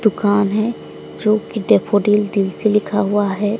दुकान है जोकि डैफोडिल दिल से लिखा हुआ है।